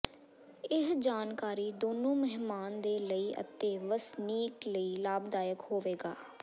ਇਹ ਜਾਣਕਾਰੀ ਦੋਨੋ ਮਹਿਮਾਨ ਦੇ ਲਈ ਅਤੇ ਵਸਨੀਕ ਲਈ ਲਾਭਦਾਇਕ ਹੋਵੇਗਾ